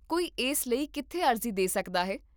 ਕੋਈ ਇਸ ਲਈ ਕਿੱਥੇ ਅਰਜ਼ੀ ਦੇ ਸਕਦਾ ਹੈ?